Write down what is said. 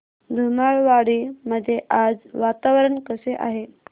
धुमाळवाडी मध्ये आज वातावरण कसे आहे